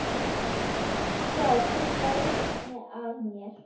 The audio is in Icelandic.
Já, þú laugst að mér.